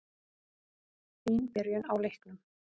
Fín byrjun á leiknum.